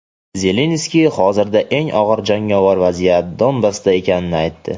Zelenskiy hozirda eng og‘ir jangovar vaziyat Donbassda ekanini aytdi.